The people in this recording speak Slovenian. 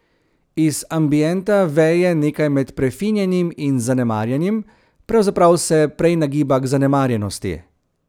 Iz ambienta veje nekaj med prefinjenim in zanemarjenim, pravzaprav se prej nagiba k zanemarjenosti.